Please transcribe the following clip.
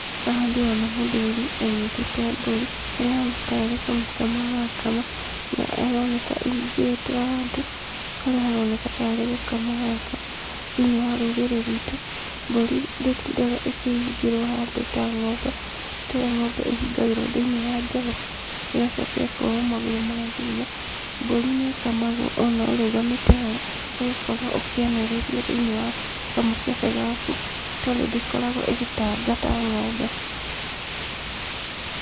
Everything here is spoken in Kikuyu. Haha ndĩrona mũthuri, anyitĩte mbũri, harĩa ahana tarĩ kũmĩkama arakama, na ĩroneka ĩhingĩrĩtwo handũ, harĩa haroneka tarĩ gũkamwo harakamwo. Thĩinĩ wa rũrĩrĩ ruitũ, mbũri ndĩtindaga ĩkĩhingĩrwo handũ ta ng'ombe, ti taũrĩa ng'ombe ĩhingagĩrwo thĩinĩ wa njoku, ĩgacoka ĩkohwo magũrũ ma thutha, mbũri nĩ ĩkamagwo ona ũrũgamĩte ho, ũgakorwo ũkĩanĩrĩria thĩinĩ wa kamũkebe gaku, tondũ ndĩkoragwo ĩgĩtanga ta ng'ombe.